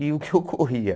E o que ocorria?